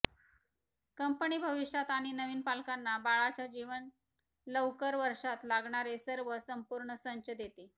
company भविष्यात आणि नवीन पालकांना बाळाच्या जीवन लवकर वर्षांत लागणारे सर्व संपूर्ण संच देते